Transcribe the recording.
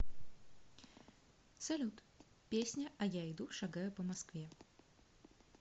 салют песня а я иду шагаю по москве